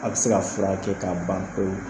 A bɛ se ka furakɛ k'a ban pewu